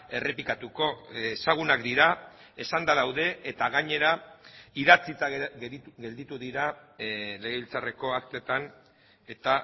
errepikatuko ezagunak dira esanda daude eta gainera idatzita gelditu dira legebiltzarreko aktetan eta